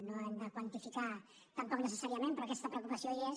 no ho hem de quantificar tampoc necessàriament però aquesta preocupació hi és